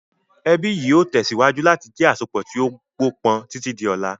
Ẹbí yìí ó tẹ̀síwájú láti jẹ àsopọ̀ tí ó gbó pọn títí di ọlá.